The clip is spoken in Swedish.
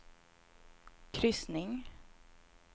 kryssning